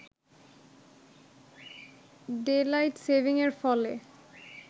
daylight saving এর ফলে